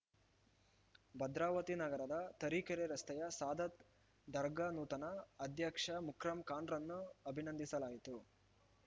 ಭದ್ರಾವತಿ ನಗರದ ತರೀಕೆರೆ ರಸ್ತೆಯ ಸಾದತ್‌ ದರ್ಗಾ ನೂತನ ಅಧ್ಯಕ್ಷ ಮುಕ್ರಂ ಖಾನ್‌ರನ್ನು ಅಭಿನಂದಿಸಲಾಯಿತು